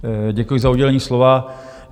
Děkuji za udělení slova.